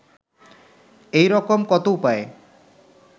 এইরকম কত উপায়ে